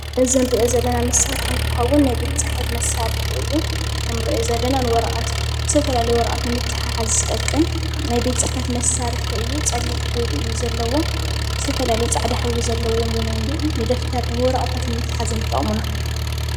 እዚ እንሪኦ ዘለና መሳርሒ እንትከዉን ናይ ቤት ፅሕፈት መሳርሒ እዩ። ዝተፈላለዩ ወረቀት ንትሕሓዝ ዝጠቅም ናይ ቤት ፅሕፈት መሳርሒ እዩ ፅሊም ሕብሪ እዩ። ዘለዎ ዝተፈላለዩ ፃዕዳ ሕብሪ ዘለዎም እዉን እኒአዉ ንደፍተር ወረቀት ምትሓዝ እዮም ዝጠቅሙና።